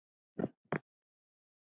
alveg sama Hvernig gemsa áttu?